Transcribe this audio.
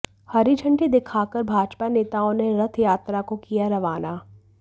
हरी झंडी दिखाकर भाजपा नेताओं ने रथ यात्रा को किया रवाना